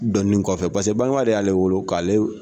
Dɔnin kɔfɛ paseke bangeba de y'ale wolo k'aale.